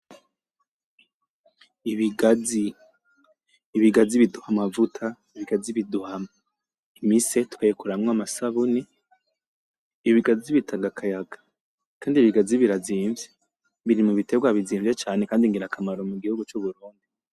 Ibigazi, ibigazi biduha amavuta, ibigazi biduha imise tukayikoramwo amasabuni, ibigazi bitanga akayaga Kandi ibigazi birazimvye , biri mubiterwa bizimvye cane kandi ngirakamaro mugihugu c'uburundi.